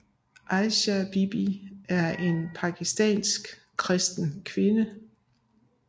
Asia Bibi er en pakistansk kristen kvinde